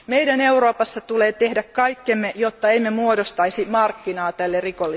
Meidän Euroopassa tulee tehdä kaikkemme, jotta emme muodostaisi markkinaa tälle rikollisuudelle.